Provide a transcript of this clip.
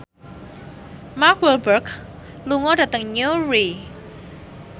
Mark Walberg lunga dhateng Newry